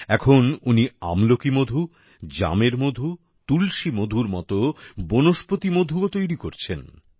এখন উনি আমলকি মধু জামের মধু তুলসি মধুর মত বনস্পতি মধুও তৈরি করছেন